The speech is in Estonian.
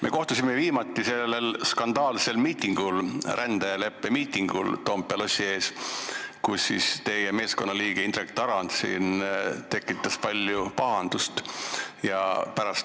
Me kohtusime viimati sellel skandaalsel miitingul, rändeleppe miitingul Toompea lossi ees, kus teie meeskonna liige Indrek Tarand tekitas palju pahandust.